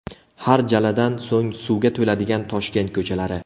Har jaladan so‘ng suvga to‘ladigan Toshkent ko‘chalari .